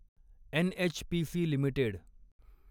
NHPC limited